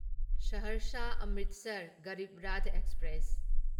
Saharsa Amritsar Garib Rath express